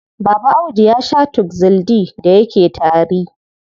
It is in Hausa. Baba Audu ya shaa Tuxil D da yake tari.